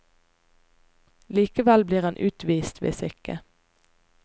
Likevel blir han utvist, hvis ikke.